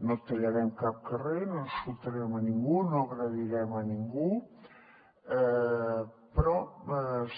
no tallarem cap carrer no insultarem a ningú no agredirem a ningú però